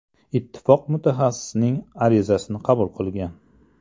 Ittifoq mutaxassisning arizasini qabul qilgan.